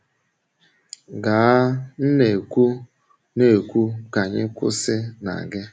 Gaa, m na-ekwu, na-ekwu, ka anyị kwụsị na gị.